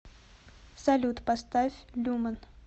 салют поставь люмен